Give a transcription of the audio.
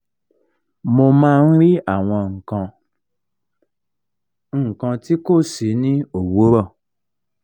mo máa ń rí àwọn nǹkan ti nǹkan ti kó si ni owuro